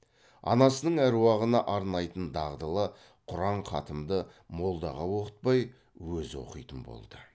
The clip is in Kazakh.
анасының әруағына арнайтын дағдылы құран хатымды молдаға оқытпай өзі оқитын болды